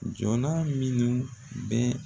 Jɔna minnu bɛɛ